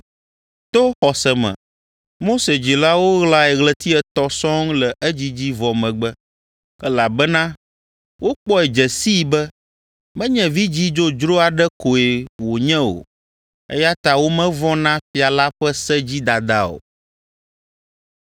To xɔse me Mose dzilawo ɣlae ɣleti etɔ̃ sɔŋ le edzidzi vɔ megbe, elabena wokpɔe dze sii be menye vidzĩ dzodzro aɖe koe wònye o, eya ta womevɔ̃ na fia la ƒe se dzi dada o.